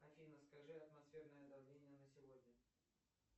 афина скажи атмосферное давление на сегодня